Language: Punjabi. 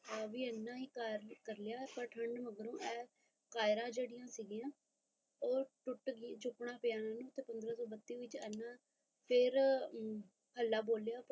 ਨੇ ਵੀ ਕਰ ਲਿਆ ਪਰ ਠੰਡ ਮਗਰੋਂ ਇਹ ਕਯਰਾ ਜੇੜੀਆ ਸੀ ਗਿਆ ਉਹ ਟੁੱਟ ਗਈ ਚੁੱਕਣਾ ਬਿਆਨ ਪੰਦਰਾ ਸੋ ਬੱਤੀ